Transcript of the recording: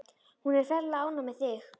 Hún er ferlega ánægð með þig.